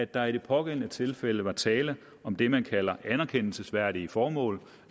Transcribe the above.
der i de pågældende tilfælde var tale om det man kalder anerkendelsesværdige formål